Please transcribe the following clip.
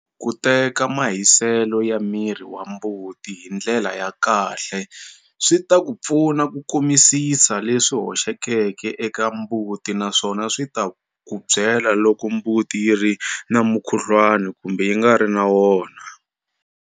Ku teka mahiselo ya miri wa mbuti hi ndlela ya kahle swi ta ku pfuna ku kumisisa leswi hoxekeke eka mbuti naswona swi ta ku byela loko mbuti yi ri na mukhuhluwana kumbe yi nga ri na wona.